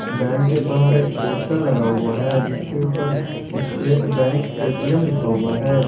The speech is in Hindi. बैंक के बाहर एक पोस्टर लगा हुआ है जिसके ऊपर स्टेट बैंक ए_टी_एम लिखा हुआ है।